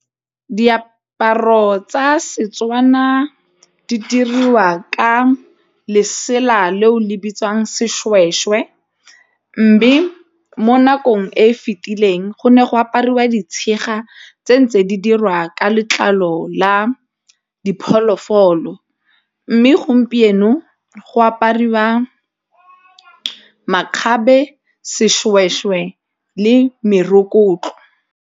Diaparo tsa Setswana di diriwa ka lesela le o le bitswang sešwešwe mme mo nakong e e fetileng go ne go apariwa ditshega tse ntse di dirwa ka letlalo la diphoofolo mme gompieno go aparwa makgabe sešwešwe le .